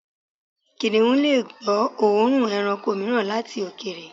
Kìnnìún lè gbọ́ òórùn ẹranko mìíràn láti òkèèrè.